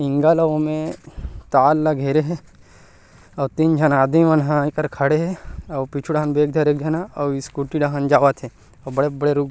हिंगा ल ओमे तार ला घेरे हे अउ तीन झन आदमी मन ह एकर खड़े हे अउ पीछू डाहन बैग धरे हे एक झन ह अउ स्कूटी डाहन जावत हे अउ बड़े-बड़े रुख --